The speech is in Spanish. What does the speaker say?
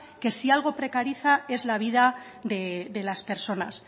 que si algo precariza es la vida de las personas